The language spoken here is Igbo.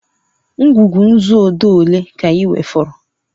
Ngwugwu nzu odee ole ka ị nwefọrọ?